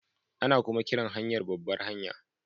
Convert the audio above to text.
Ana kuma kiran hanyar babbar hanya